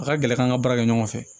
A ka gɛlɛ k'an ka baara kɛ ɲɔgɔn fɛ